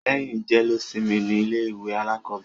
Lẹ́yìn jẹ́lósimi ni ilé ìwé alákọ̀bẹ̀rẹ̀.